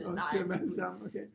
Og styre dem alle sammen okay